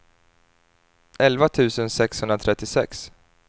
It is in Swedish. elva tusen sexhundratrettiosex